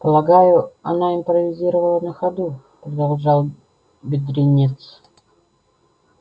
полагаю она импровизировала на ходу продолжал бедренец